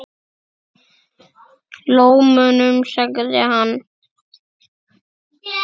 Lómunum sagði hann.